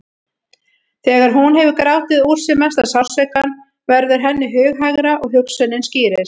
Þegar hún hefur grátið úr sér mesta sársaukann verður henni hughægra og hugsunin skýrist.